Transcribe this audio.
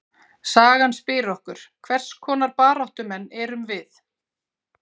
Sagan spyr okkur: hvers konar baráttumenn erum við?